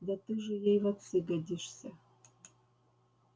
да ты же ей в отцы годишься